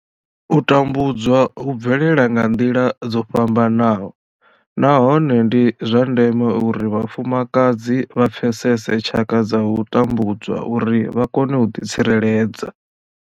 U tambudzwa hu bvelela nga nḓila dzo fhambanaho nahone ndi zwa ndeme uri vhafumakadzi vha pfesese tshaka dza u tambudzwa uri vha kone u ḓitsireledza.